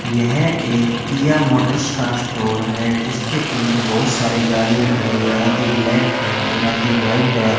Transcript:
यह एक Kia motors का स्टोर है जिसके अंदर बहुत सारे गाड़ियां खड़ी हैं आधी ब्लैक है और आधी व्हाइट है।